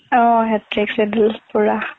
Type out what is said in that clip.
অ' hectic schedule পুৰা